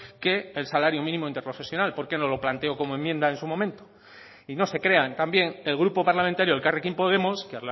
que el salario mínimo interprofesional por qué no lo planteó como enmienda en su momento y no se crean también el grupo parlamentario elkarrekin podemos que